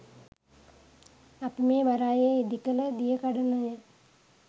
අපි මේ වරායේ ඉදි කළ දියකඩනය